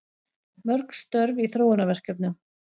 Mörg störf í þróunarverkefnum